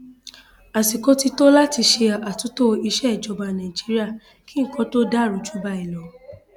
àsìkò ti tó láti ṣe àtúntò ìsejọba nàìjíríà kí nǹkan tóó dàrú jù báyìí lọ